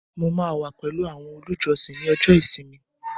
mo pa pẹlu awọn olùjọsìn ni ọjọ ìsinmi